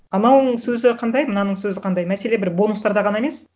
анауыңның сөзі қандай мынаның сөзі қандай мәселе бір бонустарда ғана емес